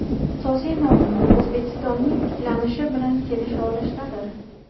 Asosiy muammo O‘zbekistonning tiklanishi bilan kelisha olishdadir.